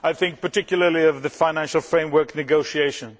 I am thinking particularly of the financial framework negotiations.